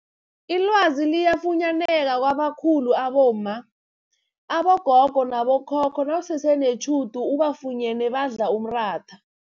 Ilwazi liyafunyaneka kwabakhulu abomma, abogogo nabo khokho nawusese netjhudu ubafunyene badla umratha.